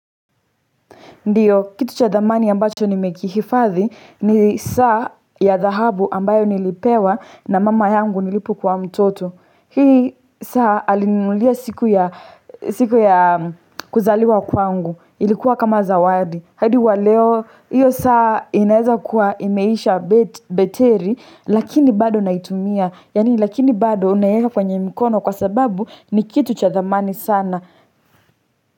Ndiyo, kitu cha dhamani ambacho ni mekihifadhi ni saa ya dhahabu ambayo nilipewa na mama yangu nilipo kuwa mtoto. Hii saa alininunulia siku ya kuzaliwa kwangu. Ilikuwa kama zawadi. Hadi wa leo, hiyo saa inaeza kuwa imeisha beteri, lakini bado naitumia. Yani lakini bado unayeka kwenye mkono kwa sababu ni kitu cha dhamani sana.